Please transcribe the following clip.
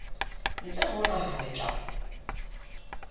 ntle ho naha le tla